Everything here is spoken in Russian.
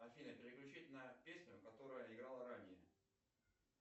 афина переключить на песню которая играла ранее